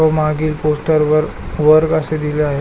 व मागील पोस्टर वर वर्ग अस लिहल आहे.